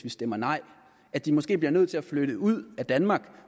vi stemmer nej og at de måske bliver nødt til at flytte ud af danmark